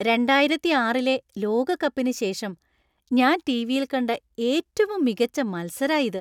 രണ്ടായിരത്തിയാറിലെ ലോകകപ്പിന് ശേഷം ഞാൻ ടിവിയിൽ കണ്ട ഏറ്റവും മികച്ച മത്സരാ ഇത്.